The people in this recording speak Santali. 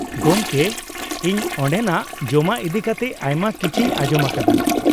ᱜᱚᱢᱠᱮ, ᱤᱧ ᱚᱸᱰᱮᱱᱟᱜ ᱡᱚᱢᱟᱜ ᱤᱫᱤ ᱠᱟᱛᱮ ᱟᱭᱢᱟ ᱠᱤᱪᱷᱤᱧ ᱟᱸᱡᱚᱢ ᱟᱠᱟᱫᱟ ᱾